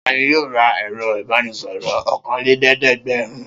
Ta ni yóò ra ẹ̀rọ-ìbánisọ̀rọ̀ ọ̀kanlélẹ́ẹ̀dẹ́gbẹ̀rún?